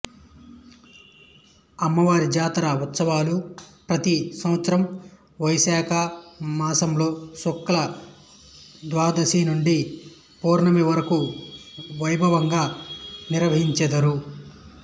అమ్మవారి జాతర ఉత్సవాలు ప్రతి సంవత్సరం వైశాఖ మాసంలో శుక్ల ద్వాదశి నుండి పౌర్ణమి వరకూ వైభవంగా నిర్వహించెదరు